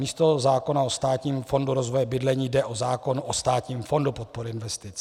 Místo zákona o Státním fondu rozvoje bydlení jde o zákon o Státním fondu podpory investic.